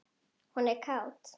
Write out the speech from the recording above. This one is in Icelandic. Hún er kát.